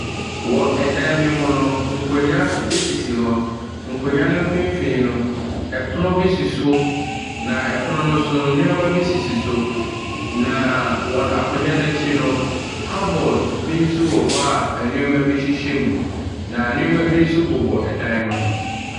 Wɔ ɛdan bi mu no, nkonnwa sisi hɔ. Nkonnwa finfin no, ɛpono si so. Na ɛpono no nso nneɛma bi sisi sop. Wɔ akonnwa no akyi no, cadboard bi nso wɔ hɔ a nneɛma bi hyehyɛ mu. Na nneɛma bi nso bobɔ dan no ho.